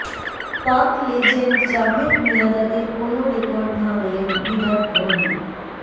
পাক লেজেন্ড জাভেদ মিয়াঁদাদের কোন রেকর্ড ভাঙলেন বিরাট কোহলি